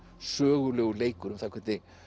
sögulegur leikur um það hvernig